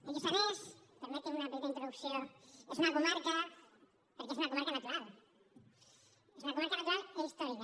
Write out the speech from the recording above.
el lluçanès permetin me una petita introducció és una comarca perquè és una comarca natural natural i històrica